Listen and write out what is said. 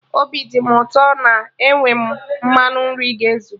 Obi dị mụ ụtọ na enwe m mmanụ nri ga ezu